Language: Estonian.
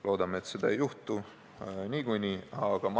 Loodame muidugi, et seda ei juhtu nii või teisiti.